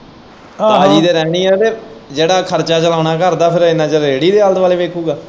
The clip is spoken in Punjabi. ਤਾਜ਼ੀ ਤੇ ਰਹਿਣੀ ਏ ਤੇ ਜਿਹੜਾ ਖਰਚਾ ਚਲਾਉਣਾ ਘਰ ਦਾ ਫੇਰ ਇਂਨਾਂ ਚਿਰ ੜੇੜੀ ਦੇ ਆਲ਼ੇ-ਦੁਆਲ਼ੇ ਵੇਖੂਗਾ।